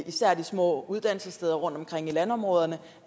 især de små uddannelsessteder rundtomkring i landområderne